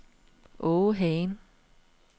Åge Hagen